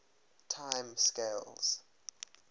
time scales